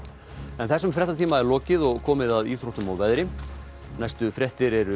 þessum fréttatíma er lokið og komið að íþróttum og veðri fréttir eru